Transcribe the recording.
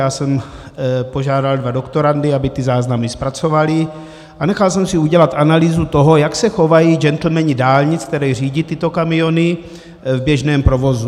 Já jsem požádal dva doktorandy, aby ty záznamy zpracovali, a nechal jsem si udělat analýzu toho, jak se chovají gentlemani dálnic, kteří řídí tyto kamiony, v běžném provozu.